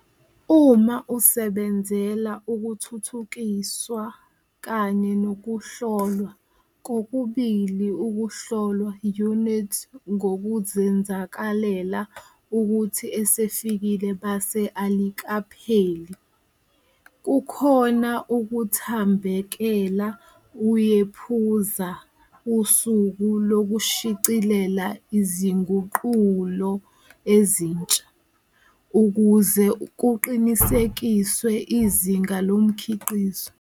Uma usebenzela ukuthuthukiswa kanye nokuhlolwa, kokubili ukuhlolwa unit ngokuzenzakalela ukuthi esifike, base alikapheli, kukhona ukuthambekela uyephuza usuku lokushicilela izinguqulo ezintsha, ukuze kuqinisekiswe izinga lomkhiqizo.